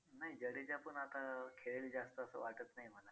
नाही जडेजापण आता खेळेल जास्त असं वाटत नाही मला